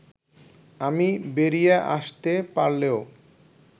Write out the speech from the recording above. আমি বেরিয়ে আসতে পারলেও